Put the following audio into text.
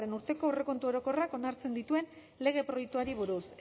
urteko aurrekontu orokorrak onartzen dituen lege proiektuari buruz